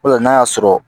O de la n'a y'a sɔrɔ